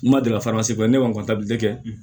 N ma deli ne kɔni kɛ